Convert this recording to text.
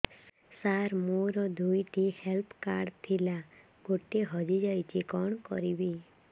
ସାର ମୋର ଦୁଇ ଟି ହେଲ୍ଥ କାର୍ଡ ଥିଲା ଗୋଟେ ହଜିଯାଇଛି କଣ କରିବି